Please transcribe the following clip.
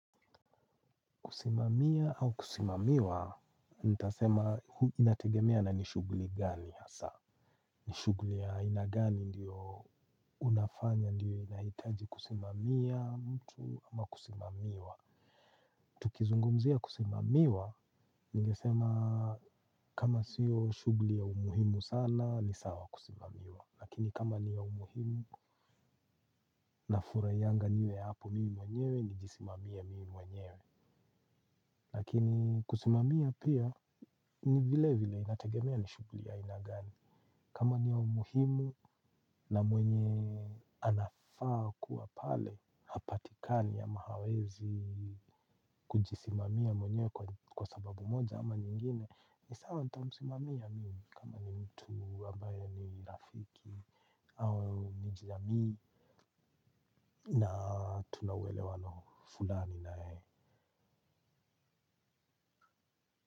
Kusimamia au kusimamiwa, nitasema inategemea na ni shughuli gani hasa. Ni shuguli ya aina gani ndiyo unafanya ndiyo haihitaji kusimamia mtu ama kusimamiwa. Tukizungumzia kusimamiwa, ningesema kama sio shughuli ya umuhimu sana, ni sawa kusimamiwa. Lakini kama ni ya umuhimu nafurahianga niwe hapo mimi mwenyewe, nijisimamie mimi mwenyewe. Lakini kusimamia pia ni vile vile inategemea ni shughuli ya aina gani. Kama ni ya umuhimu na mwenye anafaa kuwa pale hapatikani ama hawezi kujisimamia mwenyewe kwa sababu moja ama nyingine ni sawa nitamsimamia mimi kama ni mtu ambayo ni rafiki au ni jamii. Na tuna uelewano fulani na yeye.